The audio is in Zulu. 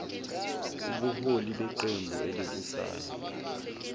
ubuholi beqembu elibusayo